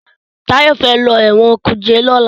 Tayo fè ló Ẹ̀wọ̀n kuje lọla.